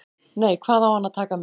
Nei, hvað á hann að taka með?